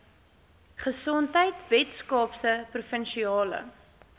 gesondheid weskaapse provinsiale